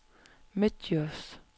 Midtdjurs